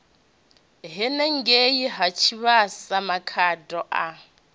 henengei ha tshivhasa makhado a